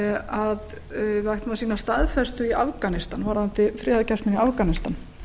að við ættum að sýna staðfestu í afganistan varðandi friðargæsluna í afganistan